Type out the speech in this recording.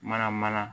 Mana mana